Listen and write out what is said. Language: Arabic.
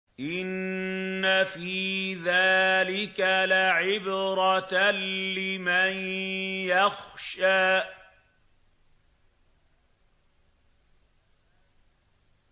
إِنَّ فِي ذَٰلِكَ لَعِبْرَةً لِّمَن يَخْشَىٰ